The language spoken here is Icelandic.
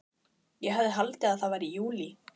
Ég hefði haldið að það væri júlí.